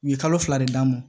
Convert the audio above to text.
U ye kalo fila de d'a ma